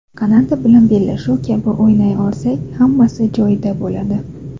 Kanada bilan bellashuv kabi o‘ynay olsak, hammasi joyida bo‘ladi.